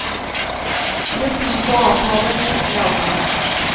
Bruk tid på å avtale en skikkelig avgang.